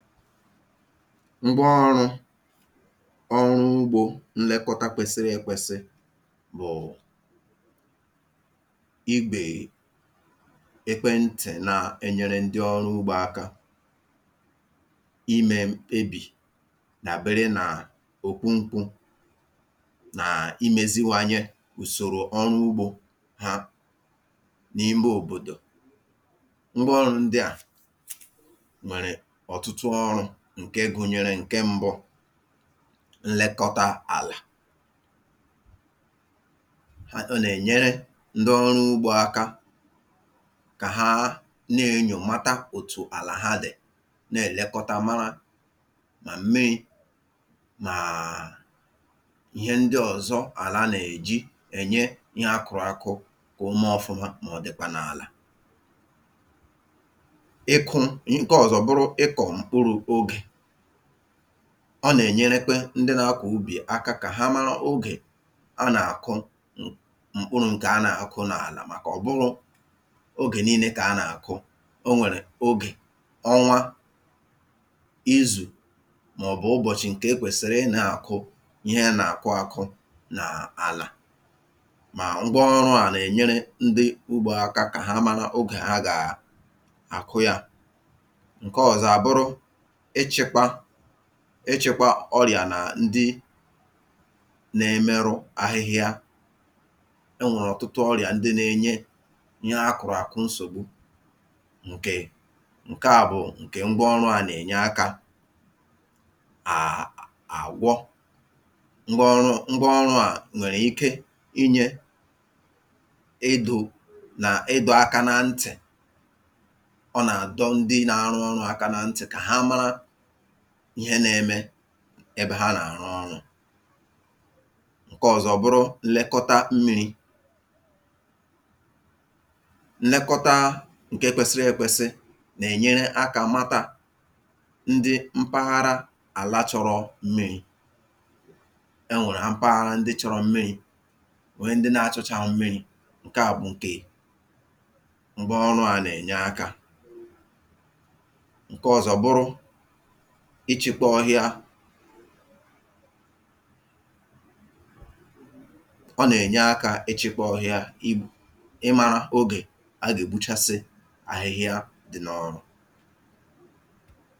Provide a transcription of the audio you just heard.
ngwa ọrụ̄ ọrụ ugbō nlekọta kwesi̇ri̇ ēkwesị bụ̀ ibè ekwentị̀ na-enyere ndị ọrụ ugbō aka imē mkpebì dàbere n’okwu nkwū nà imēziwanye ùsòrò ọrụ ugbō ha n’ime òbòdò ngwa ọrụ̄ ndịà nwèrè ọ̀tụtụ ọrụ̄ ǹke gụnyere, ǹke m̄bụ̄ nlekọta àlà h ọ́ nà-ènyere ndị ọrụ ugbō aka kà ha na-ēnyò mata òtù àlà ha dì na-èlekọta mara ma m̀mirī màà ihe ndị ọ̀zọ àla nà-èji ènye ihe akụ̄rụ akụ kà o mee ọfụma mà ọ̀ dị̀kwà n’àlà ịkụ̄, ǹke ọ̀zọ bụrụ ịkọ̀ m̀kpụrụ̄ ogè ọ nà-ènyerekwe ndị na-akụ̀ ubì aka kà ha mara ogè a nà-àkụ m mkpụrụ̄ ǹkè a nà-àkụ n’àlà màkà ọ bụhọ̄ ogè niīne kà a nà-àkụ, o nwèrè ogè, ọnwa izù, màọ̀bụ̀ ụbọ̀chị̀ ǹkè e kwèsìrì ịnā-àkụ ihe a nà-àkụ ākụ̄ n’àlà mà ngwa ọrụ̄à nà-ènyere ndị ugbō aka kà ha mara ogè ha gà-àkụ yā ǹke ọ̀zọ àbụrụ ịchị̄kwa ịchị̄kwa ọrị̀à nà ndị na-emerụ ahịhịa e nwèrè ọ̀tụtụ ọrị̀à ndị nā-enye ihe akụ̀rụ̀ àkụ nsògbu ǹkè ǹkeà bụ̀ ǹkè ngwa ọrụ̄à nà-ènye akā à àwọ ngwa ọrụ ngwa ọrụ̄à nwèrè ike inyē idū nà ịdọ̄ aka na ntị̀ ọ nà-àdọ ndị nā-arụ ọrụ̄ aka na ntị̀ kà ha mara ihe nā-eme ebe ha nà-àrụ ọrụ̄ ǹke ọ̀zọ bụrụ nlekọta mmīri nnekọta ǹke kwesiri ekwesi nà-ènyere akā mata ndị mpahara àla chọ̄rọ̄ mmirī e nwèrè ampahara ndị chọ̄rọ̄ mmirī nwee ndị na-achọchāghọ mmirī ngwa ọrụ̄à nà-ènye akā ǹke ọ̀zọ bụrụ ịchị̄kọ ọhịa ọ nà-ènye akā ịchị̄kọ ọhịa i ịmā ogè a gà-ègbuchasị ahịhịa dị̄ n’ọrụ